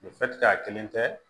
a kelen tɛ